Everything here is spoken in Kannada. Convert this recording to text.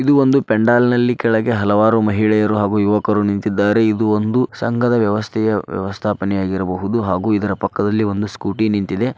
ಇದು ಒಂದು ಪೆಂಡಲನಲ್ಲಿ ಕೆಳಗೆ ಹಲವಾರು ಮಹಿಳೆಯರು ಹಾಗೂ ಯುವಕರು ನಿಂತಿದ್ದಾರೆ ಇದು ಒಂದು ಸಂಘದ ವ್ಯವಸ್ಥೆಯ ವ್ಯವಸ್ಥಾಪನೆಯಾಗಿದ್ದು ಇರಬಹುದು ಹಾಗೂ ಪಕ್ಕದಲ್ಲಿ ಒಂದು ಸ್ಕೂಟಿ ನಿಂತಿದೆ.